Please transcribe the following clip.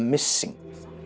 missing